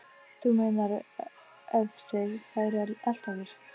Þú meinar. ef þeir færu að elta okkur?